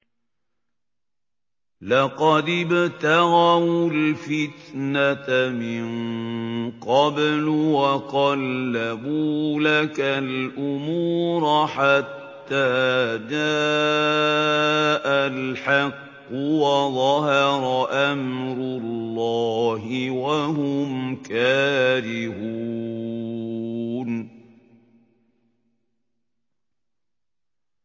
لَقَدِ ابْتَغَوُا الْفِتْنَةَ مِن قَبْلُ وَقَلَّبُوا لَكَ الْأُمُورَ حَتَّىٰ جَاءَ الْحَقُّ وَظَهَرَ أَمْرُ اللَّهِ وَهُمْ كَارِهُونَ